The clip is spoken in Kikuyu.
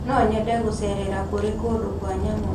No nyende gũcerera kũrĩ kũndũ kwa nyamũ.